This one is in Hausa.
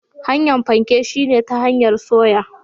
Hanyar fanke shine ta hanyar soya.